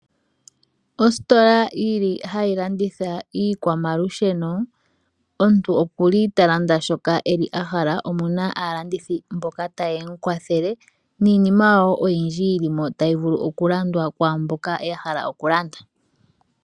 Ositola yili hayi landitha iikwamalusheno. Omuntu okuli ta landa shoka eli hala, omu na aalandithi mboka taye mu kwathele niinima woo oyindji yili mo tayi vulu okulandwa kwaamboka ya hala okulanda.